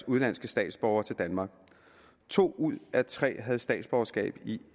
udenlandske statsborgere til danmark to ud af tre havde statsborgerskab i